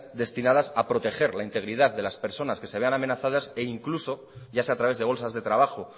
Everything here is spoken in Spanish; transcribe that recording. destinadas a proteger la integridad de las personas que se vean amenazadas e incluso ya sea a través de bolsas de trabajo